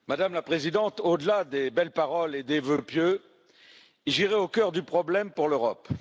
Madame la Présidente, au delà des belles paroles et des vœux pieux, j'irai au cœur du problème pour l'Europe.